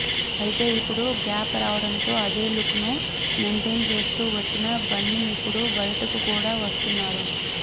అయితే ఇపుడు గ్యాప్ రావడంతో అదే లుక్ ను మైంటైన్ చేస్తూ వచ్చిన బన్నీ ఇప్పుడు బయటకు కూడా వస్తున్నారు